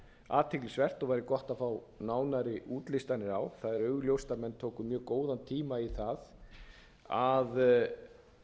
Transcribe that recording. athyglisvert og væri gott að fá nánari útlistanir á það er augljóst að menn tóku mjög góðan tíma í það að